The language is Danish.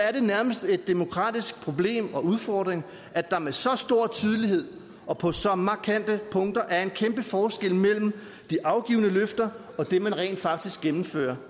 er det nærmest et demokratisk problem og udfordring at der med så stor tydelighed og på så markante punkter er en kæmpe forskel mellem de afgivne løfter og det man rent faktisk gennemfører